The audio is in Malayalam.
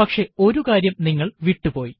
പക്ഷെ ഒരു കാര്യം നിങ്ങൾ വിട്ടുപോയി